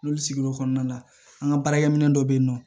N'olu sigi l'o kɔnɔna na an ka baarakɛminɛ dɔ bɛ yen nɔ